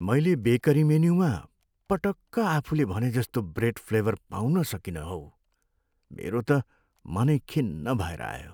मैले बेकरी मेन्युमा पटक्क आफूले भनेजस्तो ब्रेड फ्लेभर पाउन सकिनँ हौ। मेरो त मनै खिन्न भएर आयो।